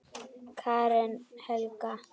Karen Helga.